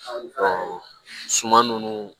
suman nunnu